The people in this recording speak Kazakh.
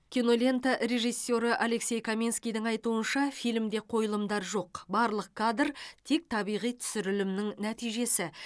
кинолента режиссері алексей каменскийдің айтуынша фильмде қойылымдар жоқ барлық кадр тек табиғи түсірілімнің нәтижесі